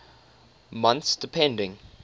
months depending